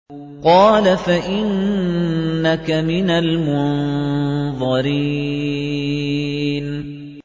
قَالَ فَإِنَّكَ مِنَ الْمُنظَرِينَ